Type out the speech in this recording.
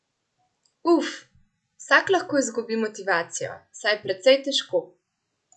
Uf, vsak lahko izgubi motivacijo, saj je precej težko.